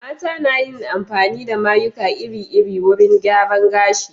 Mata na yin amfani da mayuka iri-iri wurin gyaran gashi.